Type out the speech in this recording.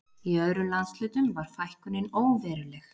Í öðrum landshlutum var fækkunin óveruleg